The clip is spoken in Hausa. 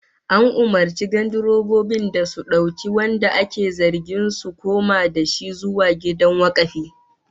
An umurci gandirobobin da su dauki wanda ake zargin su koma da shi zuwa gidan wakafi